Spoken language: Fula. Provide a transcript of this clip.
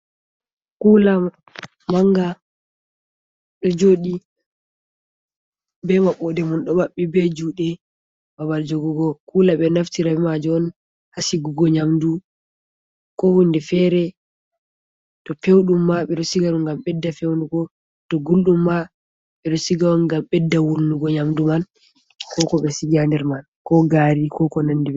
Kuula mannga ɗo jooɗi be maɓɓoode mum, ɗo maɓɓi be juuɗe babal jogugo. Kuula ɓe ɗo naftira be maajum on, haa sigugo nyamdu, ko hunde feere to pewɗum ma, ɓe ɗo siga ɗum ngam ɓedda fewnugo, to gulɗum ma, ɓe ɗo siga on ngam ɓedda wurnugo nyamdu man. Ko ko ɓe sigi a nder man, ko gaari, ko ko nandi may.